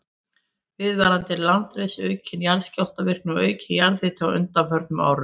Viðvarandi landris, aukin jarðskjálftavirkni og aukinn jarðhiti á undanförnum árum.